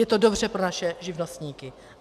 Je to dobře pro naše živnostníky.